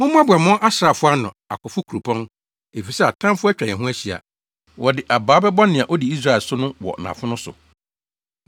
Mommoaboa mo asraafo ano, akofo kuropɔn, efisɛ atamfo atwa yɛn ho ahyia. Wɔde abaa bɛbɔ nea odi Israel so no wɔ nʼafono so.